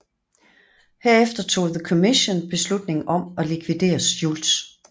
Herefter tog The Commission beslutning om at likvidere Schultz